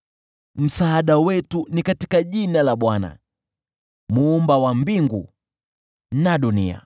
Msaada wetu ni katika jina la Bwana , Muumba wa mbingu na dunia.